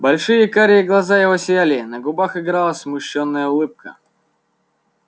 большие карие глаза его сияли на губах играла смущённая улыбка